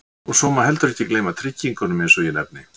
Og svo má ekki heldur gleyma tryggingunum eins og ég nefni.